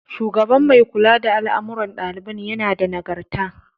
Shugaban mai kula da al'amarun ɗaliban yana da Nagarta.